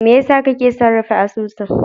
Mai yasa kake son rufe asusun?